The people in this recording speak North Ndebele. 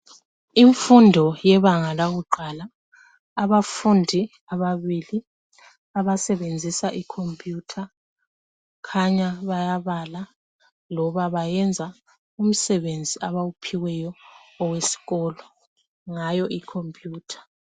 Imfundo yebanga lakuqala . Abafundi ababili abasebenzisa ikhompiyutha khanya bayabala loba bayenza umsebenzi abawuphiweyo owesikolo ngayo ikhompiyutha.